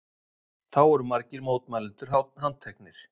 Þá voru margir mótmælendur handteknir